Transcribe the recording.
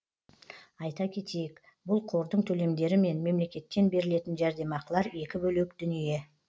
айта кетейік бұл қордың төлемдері мен мемлекеттен берілетін жәрдемақылар екі бөлек дүние